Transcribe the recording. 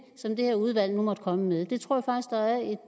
som det her udvalg nu måtte komme med det tror